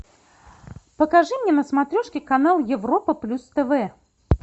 покажи мне на смотрешке канал европа плюс тв